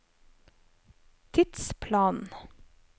tidsplanen